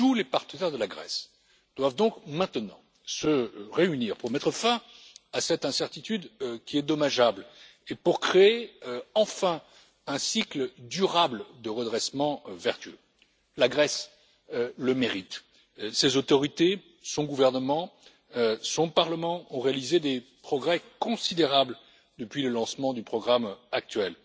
Tous les partenaires de la Grèce doivent donc maintenant se réunir pour mettre fin à cette incertitude qui est dommageable et pour créer enfin un cycle durable de redressements vertueux. La Grèce le mérite. Ses autorités, son gouvernement et son parlement ont réalisé des progrès considérables depuis le lancement du programme actuel.